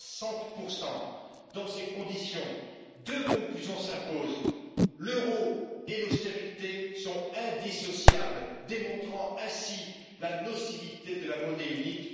60 Dans ces conditions, deux conclusions s'imposent l'euro et l'austérité sont indissociables, démontrant ainsi la nocivité de la monnaie unique.